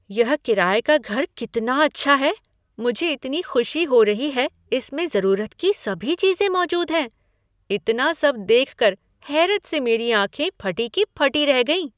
यह किराये का घर कितना अच्छा है! मुझे इतनी खुशी हो रही है इसमें ज़रूरत की सभी चीज़ें मौजूद हैं। इतना सब देखकर हैरत से मेरी आँखें फटी की फटी रह गईं।